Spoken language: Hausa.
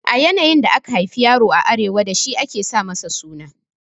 Yanayin da aka haifi yaro a Arewa dashi ake sa masa suna